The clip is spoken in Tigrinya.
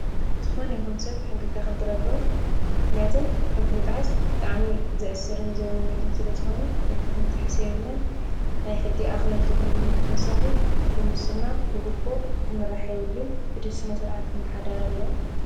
ዝኾነይኹን ሰብ ሕጊ ከክብር ኣለዎ። ምክንያቱም ሕጊ ምጥሓስ ብጣዕሚ ዘእስርን ዘውንጅልን ስለ ዝኾነ ሕጊ ክንጥሕስ የብልናን ናይ ሕጊ እኽበርቲ እውን ድማ ብተወሳኪ ብሙስና ፣ብጉቦ ክምራሕ የብሉን ግደ ስነ ስርዓት ክመሓደር ኣለዎ።